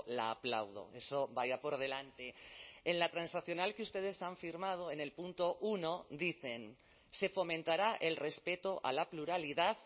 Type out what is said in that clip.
la aplaudo eso vaya por delante en la transaccional que ustedes han firmado en el punto uno dicen se fomentará el respeto a la pluralidad